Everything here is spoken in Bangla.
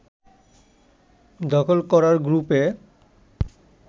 দখল করার গ্রুপে